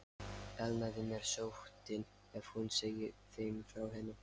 Elnaði mér sóttin, ef hún segði þeim frá henni?